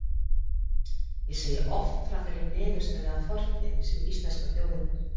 Ég segi oft frá þeirri niðurstöðu af fortíðinni, sem íslenska þjóðin er.